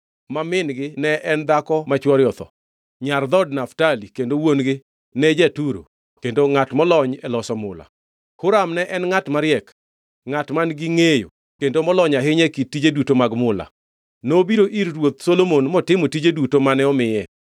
ma min-gi ne en dhako ma chwore otho, nyar dhood Naftali kendo wuon-gi ne ja-Turo kendo ngʼat molony e loso mula. Huram ne en ngʼat mariek, ngʼat man-gi ngʼeyo kendo molony ahinya e kit tije duto mag mula. Nobiro ir ruoth Solomon motimo tije duto mane omiye.